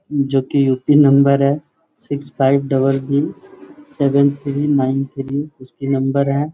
जो कि UP. Number है six five double B seven three nine three उसकी नंबर है।